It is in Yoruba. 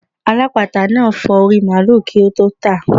Alápatà náà fọ orí i màlúù kí ó tó tàá.